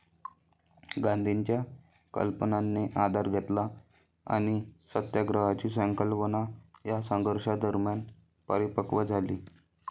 गांधींच्या कल्पनांनी आधार घेतला आणि सत्याग्रहाची संकल्पना या संघर्षादरम्यान परिपकव् झाली.